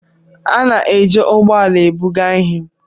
A na-eji ụgbọ ala ebuga ihe